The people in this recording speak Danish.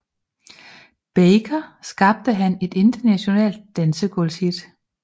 Baker skabte han et internationalt dansegulvshit